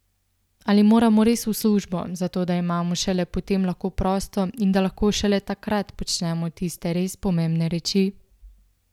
Ali moramo res v službo, zato da imamo šele potem lahko prosto in da lahko šele takrat počnemo tiste res pomembne reči?